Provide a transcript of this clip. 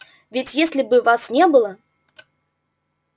ведь если бы вас не было